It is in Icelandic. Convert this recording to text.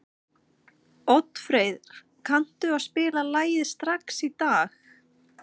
Oddfreyr, kanntu að spila lagið „Strax í dag“?